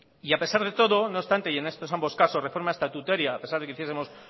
y a pesar de todo no obstante y en estos ambos casos de forma estatutaria a pesar de que hiciesemos